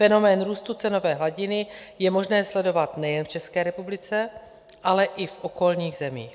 Fenomén růstu cenové hladiny je možné sledovat nejen v České republice, ale i v okolních zemích.